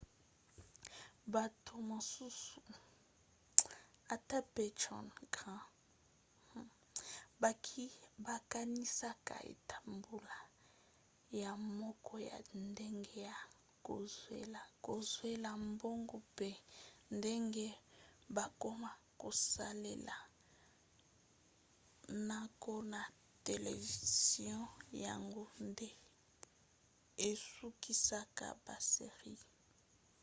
bato mosusu ata mpe john grand bakanisaka ete mbula ya moko ya ndenge ya kozwela mbongo mpe ndenge bakoma kosalela mnaka na televizio yango nde esukisaka ba series